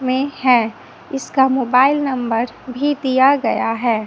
में हैं इसका मोबाईल नंबर भी दिया गया हैं।